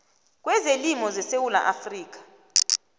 kezelimo zesewula afrika